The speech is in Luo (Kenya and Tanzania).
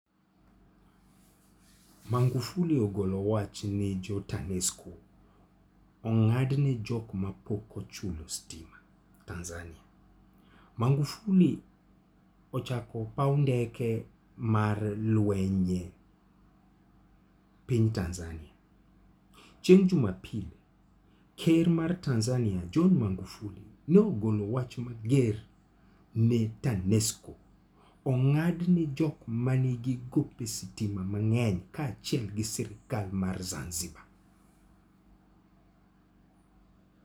Magufuli ogolo wach ni Tanesco ong'adne jok mapoko ochulo sitima .Tanzania: Magufuli ochako paw ndeke mar lwenye piny Tanzania. Chieng' Jumapil, ker mar Tanzania, John Magufuli nogolo wach mager ne Tanesco, ong'adne jok manigi gope sitima mang'eny kaachiel gi sirkal mar Zanzibar.